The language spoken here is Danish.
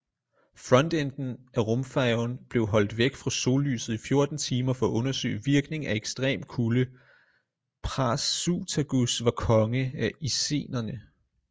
Frontenden af rumfærgen blev holdt væk fra sollyset i 14 timer for at undersøge virkning af ekstrem kuldePrasutagus var konge af icenerne